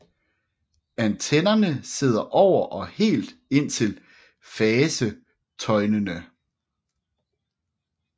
Antennerne sidder over og helt indtil fasetøjnene